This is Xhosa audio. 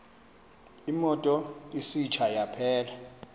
imoto isitsha yaphela